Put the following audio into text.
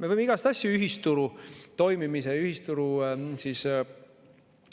Me võime igasuguseid asju ühisturu toimimise või ühisturu